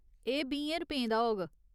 एह्‌ बीहें रपेंऽ दा होग।